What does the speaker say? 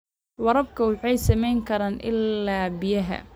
Waraabka wuxuu saameyn karaa ilaha biyaha.